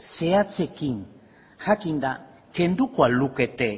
zehatzekin jakinda kenduko al lukete